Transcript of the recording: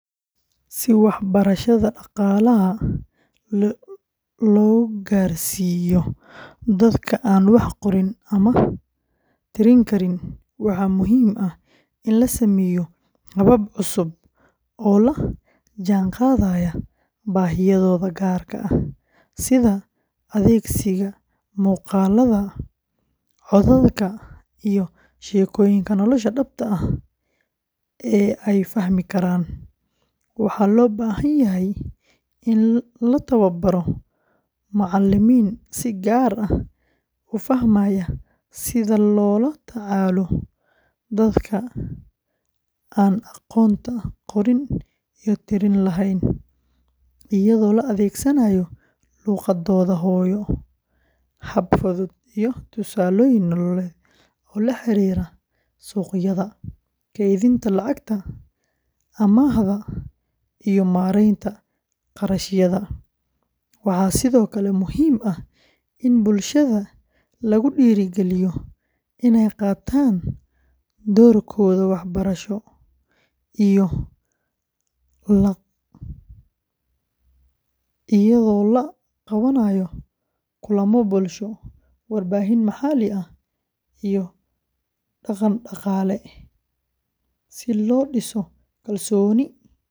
Si waxbarashada dhaqaalaha loogu gaarsiiyo dadka aan wax qorin ama tirin karin, waxaa muhiim ah in la sameeyo habab cusub oo la jaanqaadaya baahiyahooda gaarka ah, sida adeegsiga muuqaalada, codadka, iyo sheekooyinka nolosha dhabta ah ee ay fahmi karaan. Waxaa loo baahan yahay in la tababaro macallimiin si gaar ah u fahmaya sida loola tacaalo dadka aan aqoonta qorin iyo tirin lahayn, iyadoo la adeegsanayo luqadooda hooyo, hab fudud, iyo tusaalooyin nololeed oo la xiriira suuqyada, kaydinta lacagta, amaahda, iyo maaraynta kharashyada. Waxaa sidoo kale muhiim ah in bulshada lagu dhiirrigeliyo inay qaataan doorkooda waxbarasho iyadoo la qabanayo kulamo bulsho, warbaahin maxalli ah, iyo dhaqan-dhaqaale si loo dhiso kalsooni.